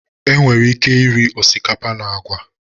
Enwere ike iri osikapa na agwa